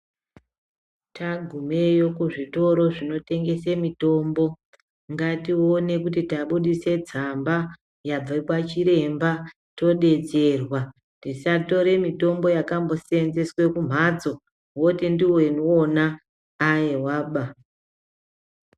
Tagumeyo kuzvitoro zvinotengese mitombo ngatione kuti tabudise tsamba yabve kwachiremba todetserwa tisatore mitombo yakamboseenzeswe kumhatso woti ndiwona aiwaba.